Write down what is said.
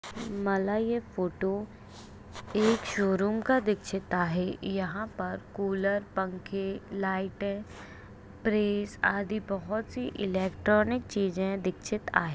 मला ये फोटो एक शोरूम का दिखचित आहे यहाँ पर कूलर पंखे लाइटे प्फ्रिज अधि बहुत सी इलेक्ट्रॉनिक चीज दिखचित आहे.